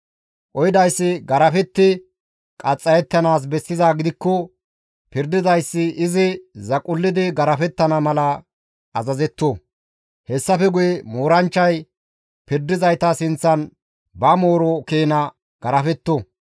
Qohidayssi garafetti qaxxayettanaas bessizaa gidikko pirdizayti izi zaqullidi garafettana mala azazetto; hessafe guye mooranchchay pirdizayta sinththan ba mooro keena garafetto.